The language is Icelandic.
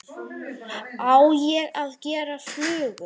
Á ég að gera flugu?